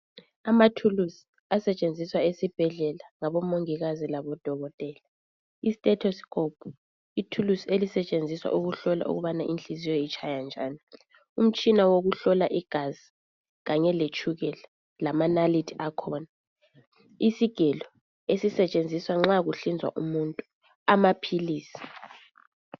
Amathuluzi asetshenziswa esibhedlela ngabo mongikazi labo dokotela i thesteskhophu ithuluzi elisetshenziswa ukuhlola ukubana inhlinziyo itshaya njaniumtshina wokuhlola igazi kanye letshukela lamanalithi akhona isigelo esisetshenziswa nxa kuhlinzwa umuntu lamaphilizi.